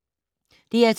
DR2